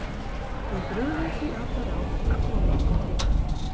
Við brugðum því á það ráð að koma okkur til